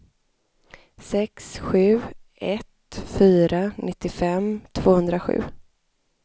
sex sju ett fyra nittiofem tvåhundrasju